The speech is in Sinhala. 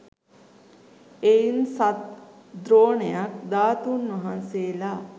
එයින් සත් ද්‍රෝණයක් ධාතූන් වහන්සේලා